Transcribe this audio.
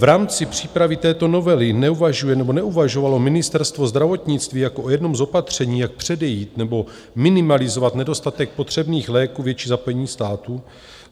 V rámci přípravy této novely neuvažuje nebo neuvažovalo Ministerstvo zdravotnictví jako o jednom z opatření, jak předejít nebo minimalizovat nedostatek potřebných léků, větší zapojení státu?